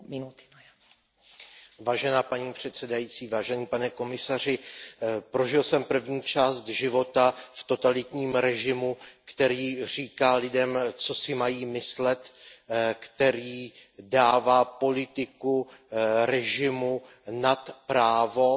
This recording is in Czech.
Paní předsedající, pane komisaři, prožil jsem první část života v totalitním režimu, který říká lidem, co si mají myslet, který dává politiku režimu nad právo, nad panství práva